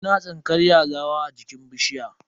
Muna tsinkar yazawa a jikin bishiya.